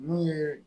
Min ye